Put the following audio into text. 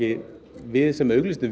við sem auglýsendur